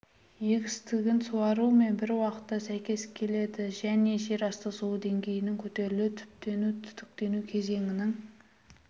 егістігін суару мен бір уақытта сәйкес келеді және жер асты суы деңгейінің көтерілуі түптену-түтіктену кезеңінің